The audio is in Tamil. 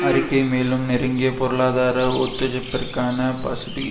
அறிக்கை மேலும் நெருங்கிய பொருளாதார ஒத்துஜைப்பிற்கான பசுபி